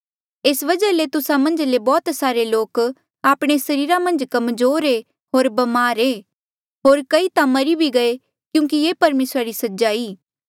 एस वजहा ले तुस्सा मन्झा ले बौह्त सारे लोक आपणे सरीरा मन्झ कमजोर ऐें होर ब्मार ऐें होर कई ता मरी भी गये क्यूंकि ये परमेसरा री सजा ई